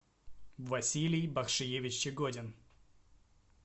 василий бахшиевич чегодин